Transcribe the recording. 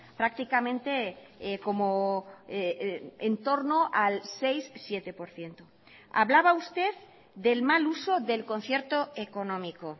prácticamente como en torno al seis siete por ciento hablaba usted del mal uso del concierto económico